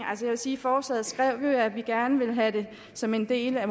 sige forslaget skrev vi jo at vi måske gerne ville have det som en del af